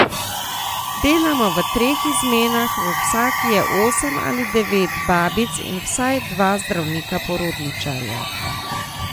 Delamo v treh izmenah, v vsaki je osem ali devet babic in vsaj dva zdravnika porodničarja.